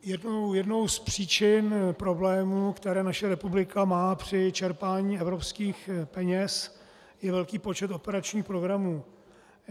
Jednou z příčin problémů, které naše republika má při čerpání evropských peněz, je velký počet operačních programů.